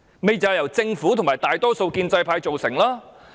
正正就是由政府和大多數建制派所育成。